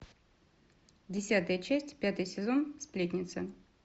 десятая часть пятый сезон сплетница